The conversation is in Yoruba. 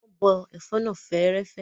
Wọn bọ ẹ̀fọ́ náà fẹ́ẹ́rẹ́fẹ́.